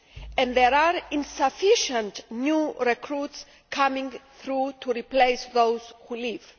and there are insufficient new recruits coming through to replace those who leave.